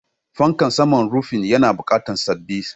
Fankan saman rufi yana buƙatar sabis.